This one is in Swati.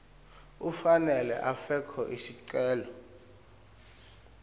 ufanele afake sicelo